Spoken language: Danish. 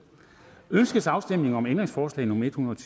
ønskes afstemning om ændringsforslag nummer en hundrede og